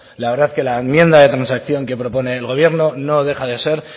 la verdad que la enmienda de transacción que propone el gobierno no deja de ser